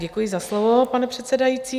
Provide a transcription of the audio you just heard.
Děkuji za slovo, pane předsedající.